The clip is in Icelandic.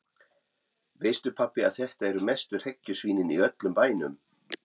Veistu pabbi að þetta eru mestu hrekkjusvínin í öllum bænum.